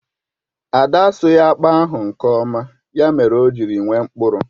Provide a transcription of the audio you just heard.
Ada asụghi akpu ahụ nke oma, ya mere o ji nwee mkpụrụ